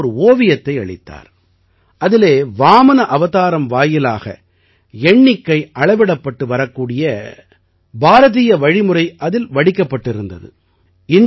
அவர் எனக்கு ஒரு ஓவியத்தையளித்தார் அதிலே வாமன அவதாரம் வாயிலாக எண்ணிக்கை அளவிடப்பட்டு வரக்கூடிய பாரதிய வழிமுறை அதில் வடிக்கப்பட்டிருந்தது